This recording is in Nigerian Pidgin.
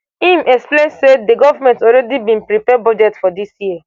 im explain say di govment already bin prepare budget for dis year